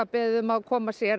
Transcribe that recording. beðið um að koma sé